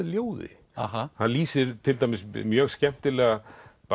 ljóði hann lýsir til dæmis mjög skemmtilega